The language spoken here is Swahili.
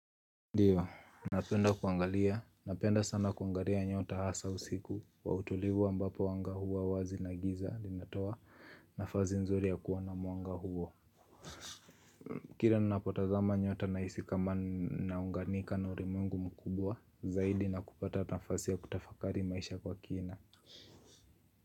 Ndio, napenda sana kuangalia nyota hasa usiku wa utulivu ambapo wanga hua wazi na giza linatoa nafasi nzuri ya kuona mwanga huo Kira ninapotazama nyota na hisi kama naunganika na ulimwengu mkubwa zaidi na kupata nafasi ya kutafakari maisha kwa kina.